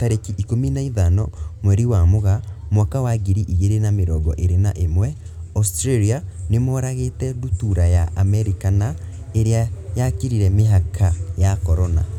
Tarĩki ikũmi na ithano mweri wa Mũgaa mwaka wa ngiri igiri na mirongo iri na imwe, Australia nimoragite ndutura ya Amerika na iria yakirire mihaka ya Corona.